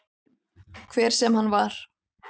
Hver sem hann var.